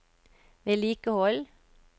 vedlikehold